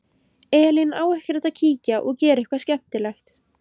Elín: Á ekkert að kíkja og gera eitthvað skemmtilegt?